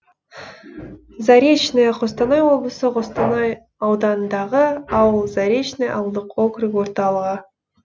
заречное қостанай облысы қостанай ауданындағы ауыл заречный ауылдық округ орталығы